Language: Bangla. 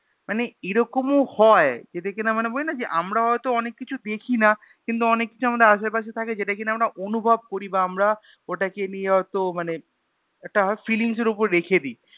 মানে এরকমও হয় যেটা কিনা মানে বলিনা যে আমরা হয়তো অনেককিছু দেখি না কিন্তু অনেককিছুই আমদের আসেপাশে থাকে যেটা কিনা আমরা অনুভব করি বা আমরা ওটাকে নিয়ে হয়তো মানে একটা Feelings এর উপরে রেখে দিই